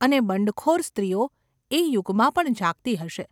અને બંડખોર સ્ત્રીઓ એ યુગમાં પણ જાગતી હશે.